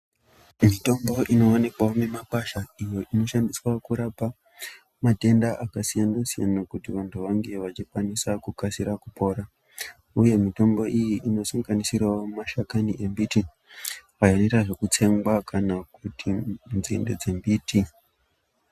Mitombo inoonekwa mumimakwasha iyo inoshandiswa kurapa matenda akasiyanasiyana kuti vantu vange vachikwanise kukasire kupora uye mitombo iyi inosanganisira mashakani embiti ayo anoita zvekutsengwa kana nzinde dzembiti.